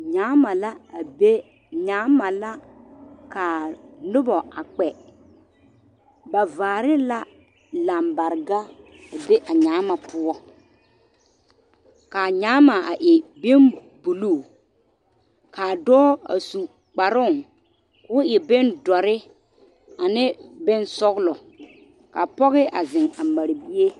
Nyaama la a be nyaama la ka noba a kpɛ ba vaare la lambarega a be a nyaama poɔ k,a nyaama a e bonbulu k,a dɔɔ a su kparoŋ k,o e bondɔre ane bonsɔglɔ ka pɔge a zeŋ a mare bie.